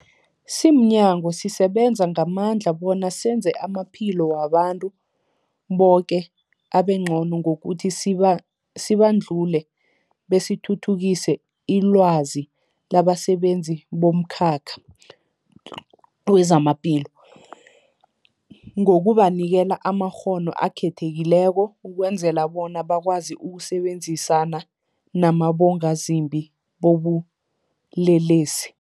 Simnyango, sisebenza ngamandla bona senze amaphilo wabantu boke abengcono ngokuthi sibandule besithuthukise ilwazi labasebenzi bomkhakha wezamaphilo ngokubanikela amakghono akhethekileko ukwenzela bona bakwazi ukusebenzisana nabongazimbi bobulelesi.